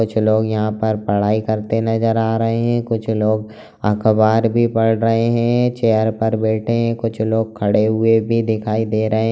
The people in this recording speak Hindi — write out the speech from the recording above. कुछ लोग यहाँ पर पढ़ाई करते नजर आ रहे है कुछ लोग अखबार भी पढ़ रहे है चेयर पर बैठे है कुछ लोग खड़े हुए भी दिखाई दे रहे --